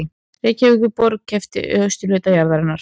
Reykjavíkurborg keypti austurhluta jarðarinnar